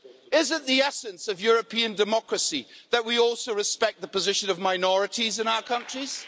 Isn't the essence of European democracy that we also respect the position of minorities in our countries?